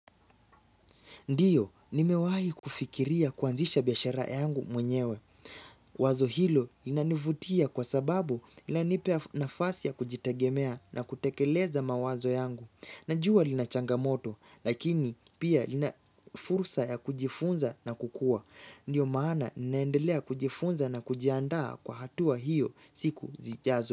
Ndiyo, nimewahi kufikiria kuanzisha biashara yangu mwenyewe. Wazo hilo linanivutia kwa sababu lilanipea nafasi ya kujitegemea na kutekeleza mawazo yangu. Najua lina changamoto, lakini pia lina fursa ya kujifunza na kukua. Ndiyo maana ninaendelea kujifunza na kujiandaa kwa hatua hiyo siku zijazo.